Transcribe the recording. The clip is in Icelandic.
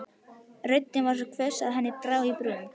Röddin var svo hvöss að henni brá í brún.